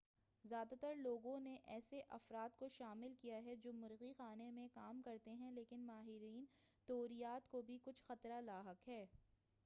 زیادہ تر لوگوں نے ایسے افراد کو شامل کیا ہے جو مرغی خانہ میں کام کرتے ہیں لیکن ماہرین طیوریات کو بھی کچھ خطرہ لاحق ہے